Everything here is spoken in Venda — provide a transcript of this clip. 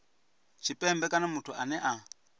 tshipembe kana muthu ane a